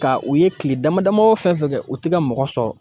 Ka u ye kile dama dama o fɛn fɛn kɛ u ti ka mɔgɔ sɔrɔ.